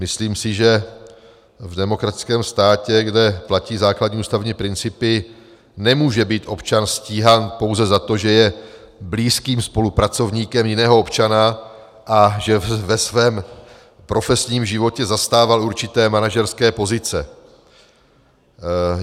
Myslím si, že v demokratickém státě, kde platí základní ústavní principy, nemůže být občan stíhán pouze za to, že je blízkým spolupracovníkem jiného občana a že ve svém profesním životě zastával určité manažerské pozice.